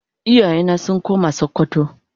iyaye na sun koma sokoto.